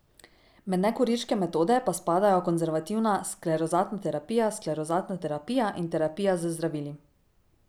Med nekirurške metode pa spadajo konzervativna sklerozatna terapija, sklerozatna terapija in terapija z zdravili.